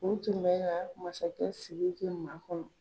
U tun bɛ ka masakɛ Siriki ma kɔnɔ.